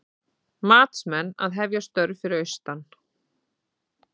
Matsmenn að hefja störf fyrir austan